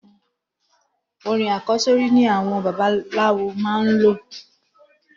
Orin àkọ́sórí ni àwọn babaláwo máa n lò.